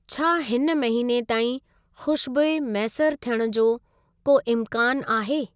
छा हिन महीने ताईं खू़शबूइ मैसर थियण जो को इम्कानु आहे?